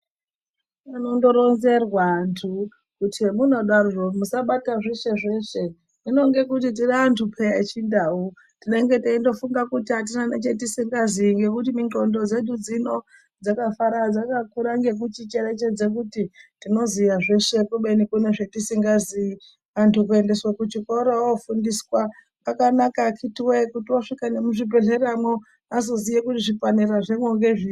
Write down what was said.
Anondoronzerwa anthu, kuti zvamunodaroko musabata zveshe zveshe, hino ngekuti tiri anthu peya echiNdau tinenge teindo funga kuti atina nechatisingaziyi ngekuti mindxondo dzedu dzino dzakakura ngekuticherechedza kuti tinoziya zveshe kubeni kune zvatisingaziyi. Anthu kuendeswa kuchikoro woofundiswa kwakanaka akitiwee kuti wosvika nemuzvibhedhlera azoziya kuti zvipanera zvemwo ngezviri.